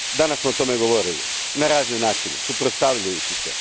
Danas smo o tome govorili. Na razne načine, suprotstavljajući se.